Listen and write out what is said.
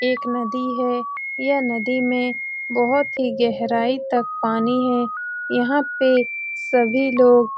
एक नदी है ये नदी में बहुत ही गहराई तक पानी है यहां पे सभी लोग --